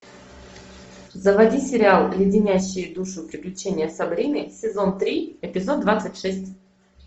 заводи сериал леденящие душу приключения сабрины сезон три эпизод двадцать шесть